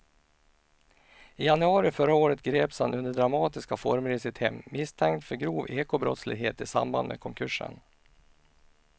I januari förra året greps han under dramatiska former i sitt hem misstänkt för grov ekobrottslighet i samband med konkursen.